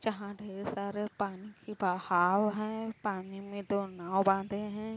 जहां ढेर सारे पानी की बहाओ है। पानी में दो नाव बांधे हैं।